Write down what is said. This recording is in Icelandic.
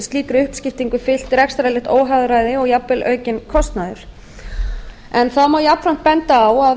slíkri uppskiptingu fylgja rekstrarlegt óhagræði og jafnvel aukinn kostnaður þá má jafnframt benda á að